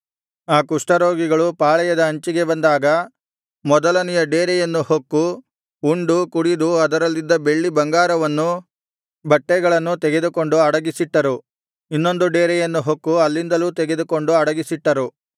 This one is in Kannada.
ಆ ಕುಷ್ಠರೋಗಿಗಳು ಪಾಳೆಯದ ಅಂಚಿಗೆ ಬಂದಾಗ ಮೊದಲನೆಯ ಡೇರೆಯನ್ನು ಹೊಕ್ಕು ಉಂಡು ಕುಡಿದು ಅದರಲ್ಲಿದ್ದ ಬೆಳ್ಳಿ ಬಂಗಾರವನ್ನೂ ಬಟ್ಟೆಗಳನ್ನೂ ತೆಗೆದುಕೊಂಡು ಅಡಗಿಸಿಟ್ಟರು ಇನ್ನೊಂದು ಡೇರೆಯನ್ನು ಹೊಕ್ಕು ಅಲ್ಲಿಂದಲೂ ತೆಗೆದುಕೊಂಡು ಅಡಗಿಸಿಟ್ಟರು